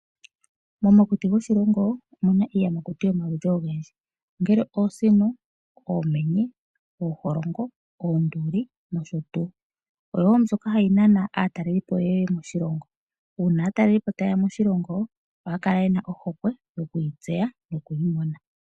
Momakuti goshilongo mu na iiyamakuti yomaludhi ogendji ongele Oosino, Oomenye, Ooholongo, Oonduli nosho tuu. Oyo woo mbyoka ha yinana aatalelipo yeye moshilongo uuna aatalelipo ta yeya moshilongo oha yakala yena ohokwe yoku yitseya no kuyimona.